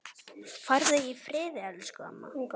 Farðu í friði, elsku amma.